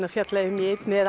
fjalla um í einni eða